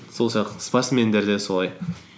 сол сияқты спортсмендер де солай